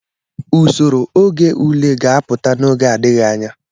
Usoro oge ule ga-apụta n'oge adịghị anya.